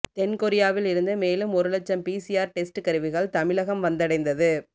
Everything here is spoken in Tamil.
தென் கொரியாவில் இருந்து மேலும் ஒரு லட்சம் பிசிஆர் டெஸ்ட் கருவிகள் தமிழகம் வந்தடைந்தது